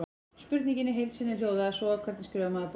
Spurningin í heild sinni hljóðaði svo: Hvernig skrifar maður bók?